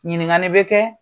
Ɲinikali bɛ kɛ